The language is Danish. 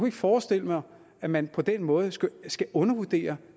ikke forestille mig at man på den måde skulle undervurdere